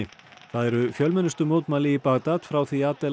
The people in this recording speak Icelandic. það eru fjölmennustu mótmæli í Bagdad frá því Adel